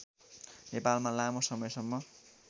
नेपालमा लामो समयसम्म